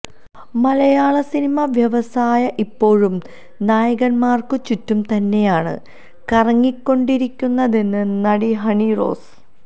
മലയാളസിനിമാ വ്യവസായം ഇപ്പോഴും നായകന്മാര്ക്കു ചുറ്റും തന്നെയാണ് കറങ്ങിക്കൊണ്ടിരിക്കുന്നതെന്ന് നടി ഹണി റോസ്